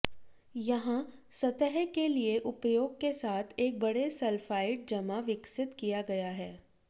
यहाँ सतह के लिए उपयोग के साथ एक बड़े सल्फाइड जमा विकसित किया गया है